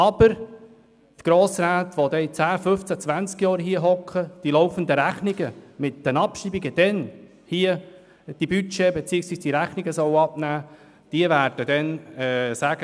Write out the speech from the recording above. Aber die Grossräte, die dann in 10, 15, 20 Jahren hier sitzen, hier die laufenden Rechnungen mit den Abschreibungen, die Budgets beziehungsweise die Rechnungen abnehmen sollen, die werden sagen: